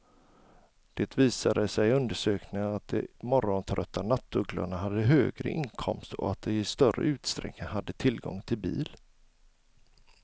Det visade sig i undersökningen att de morgontrötta nattugglorna hade högre inkomster och att de i större utsträckning hade tillgång till bil.